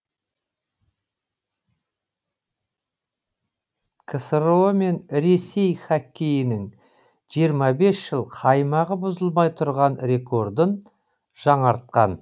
ксро мен ресей хоккейінің жиырма бес жыл қаймағы бұзылмай тұрған рекордын жаңартқан